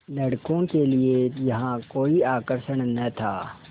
लड़कों के लिए यहाँ कोई आकर्षण न था